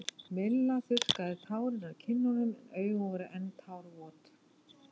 Milla þurrkaði tárin af kinnunum en augun voru enn tárvot.